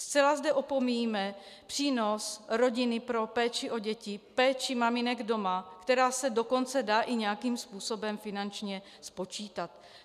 Zcela zde opomíjíme přínos rodiny pro péči o děti, péči maminek doma, která se dokonce dá i nějakým způsobem finančně spočítat.